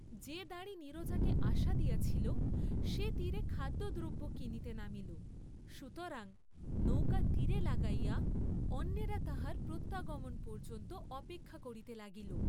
যে দাঁড়ি নীরজাকে আশা দিয়াছিল, সে তীরে খাদ্য দ্রব্য কিনিতে নামিল, সুতরাং নৌকা তীরে লাগাইয়া অন্যেরা তাহার প্রত্যাগমন পর্য্যন্ত অপেক্ষা করিতে লাগিল।